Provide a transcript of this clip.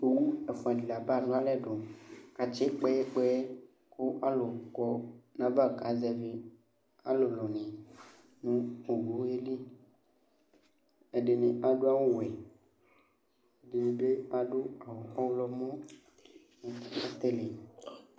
Owu ɛfʋadɩ laba lʋ alɛdʋ, k 'atsɩ kpɛyɛkpɛyɛ ! Kʋ alʋ kɔ n'ayava kazɛvɩ alʋlʋnɩ nʋ owue li Ɛdɩnɩ adʋ awʋwɛ , ɛdɩnɩ bɩ adʋ ɔɣlɔmɔ, f kɛɛli